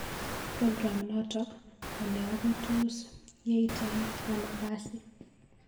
progam noto ko ne ako tos yaitai ano kasi